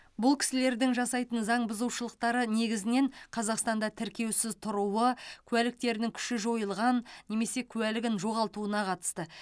бұл кісілердің жасайтын заң бұзушылықтары негізінен қазақстанда тіркеусіз тұруы куәліктерінің күші жойылған немесе куәлігін жоғалтуына қатысты